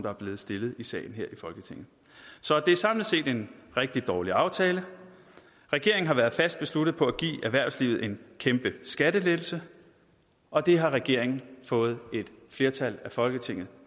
er blevet stillet i salen her i folketinget så det er samlet set en rigtig dårlig aftale regeringen har været fast besluttet på at give erhvervslivet en kæmpe skattelettelse og det har regeringen fået et flertal i folketinget